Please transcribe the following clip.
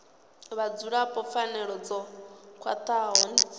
vhadzulapo pfanelo dzo khwathaho dzi